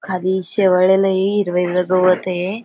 खाली शेवाळलेलय. हिरवं हिरवं गवतय.